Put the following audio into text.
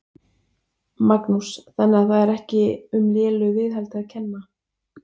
Magnús: Þannig að það er ekki um lélegu viðhaldi að kenna?